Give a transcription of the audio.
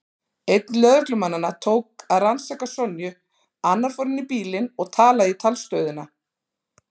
Einn lögreglumannanna tók að rannsaka Sonju, annar fór inn í bílinn og talaði í talstöðina.